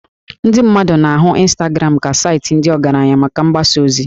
Ndị mmadụ na-ahụ Instagram ka saịtị ndị ọgaranya maka mgbasa ozi